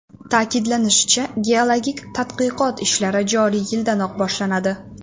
Ta’kidlanishicha, geologik tadqiqot ishlari joriy yildanoq boshlanadi.